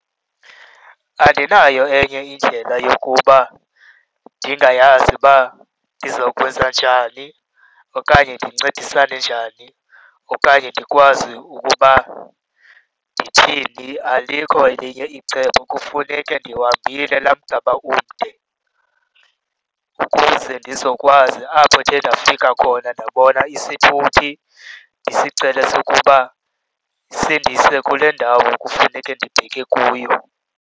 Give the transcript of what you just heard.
Andinayo enye indlela yokuba ndingayazi uba ndizawukwenza njani okanye ndincedisane njani okanye ndikwazi ukuba ndithini. Alikho elinye icebo, kufuneke ndiwuhambile laa mgama umde ukuze ndizokwazi apho ndithe ndafika khona ndabona isithuthi ndisicele ukuba sindise kule ndawo kufuneke ndibheke kuyo.